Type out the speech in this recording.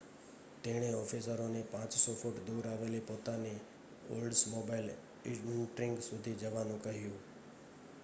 તેણે ઑફિસરોને 500 ફૂટ દૂર આવેલી પોતાની ઓલ્ડ્સમોબાઇલ ઇન્ટ્રિગ સુધી જવાનું કહ્યું